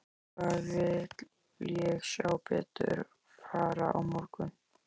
Hvað vil ég sjá betur fara á morgun?